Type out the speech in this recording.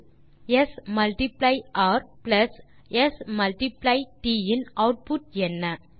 ஸ் மல்ட்டிப்ளை ர் பிளஸ் ஸ் மல்ட்டிப்ளை ட் இன் ஆட்புட் என்ன